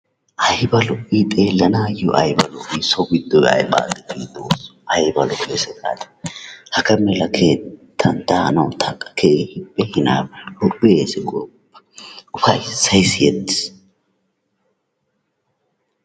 Ayba lo"ii xeellanaayyo ayba lo"ii, so giddoy ayba lo"ii xoossoo ayba lo"eesi gaadii? Hagaa mala keettan daanawu tana keehippe lo"eesi gooppa, ufayssay siyettiis.